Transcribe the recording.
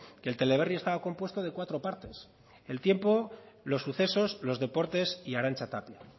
que el teleberri estaba compuesto de cuatro partes el tiempo los sucesos los deportes y arantxa tapia